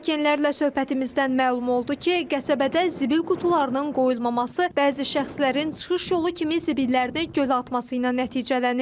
Sakinlərlə söhbətimizdən məlum oldu ki, qəsəbədə zibil qutularının qoyulmaması bəzi şəxslərin çıxış yolu kimi zibillərini gölə atması ilə nəticələnir.